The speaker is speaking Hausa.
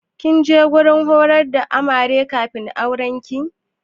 Kin je wajen horar da Amare kafin aurenki?